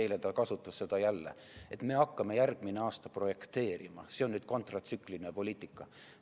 Eile ta kasutas seda jälle, et me hakkame järgmine aasta projekteerima, see on nüüd kontratsükliline poliitika.